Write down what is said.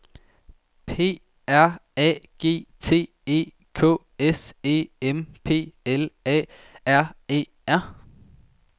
P R A G T E K S E M P L A R E R